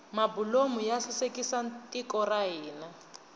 mabulomu ya sasekisa tiko ra hina